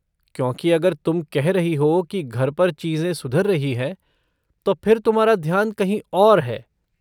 क्योंकि अगर तुम कह रही हो कि घर पर चीजें सुधर रही है तो फिर तुम्हारा ध्यान कहीं और है।